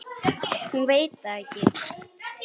Hún veit það ekki.